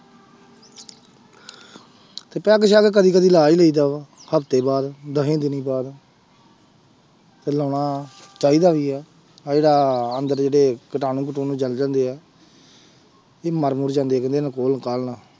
ਤੇ ਪੈਗ ਸੈਗ ਕਦੇ ਕਦੇ ਲਾ ਹੀ ਲਈਦਾ ਵਾ ਹਫ਼ਤੇ ਬਾਅਦ, ਦਸੇ ਦਿਨੀ ਬਾਅਦ ਤੇ ਲਾਉਣਾ ਚਾਹੀਦਾ ਵੀ ਆ, ਆਹ ਜਿਹੜਾ ਅੰਦਰ ਜਿਹੜੇ ਕੀਟਾਣੂ ਕਟੂਣੇ ਜਲ ਜਾਂਦੇ ਆ ਇਹ ਮਰ ਮੁਰ ਜਾਂਦੇ ਆ ਕਹਿੰਦੇ ਨਾਲ।